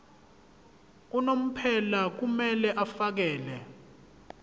unomphela kumele afakele